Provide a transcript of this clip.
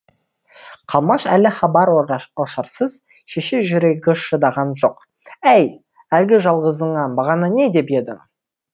қалмаш әлі хабар ошарсыз шеше жүрегі шыдаған жоқ әй әлгі жалғызыңа бағана не деп едің